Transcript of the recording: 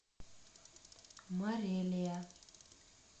морелия